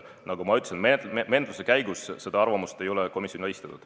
Nagu ma ütlesin, menetluse käigus seda arvamust komisjonile ei esitatud.